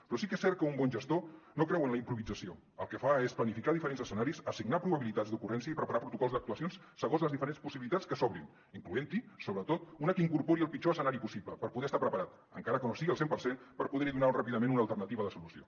però sí que és cert que un bon gestor no creu en la improvisació el que fa és planificar diferents escenaris assignar probabilitats d’ocurrència i preparar protocols d’actuacions segons les diferents possibilitats que s’obrin incloent hi sobretot una que incorpori el pitjor escenari possible per poder estar preparat encara que no sigui al cent per cent per poder hi donar ràpidament una alternativa de solució